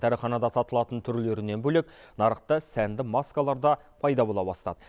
дәріханада сатылатын түрлерінен бөлек нарықта сәнді маскалар да пайда бола бастады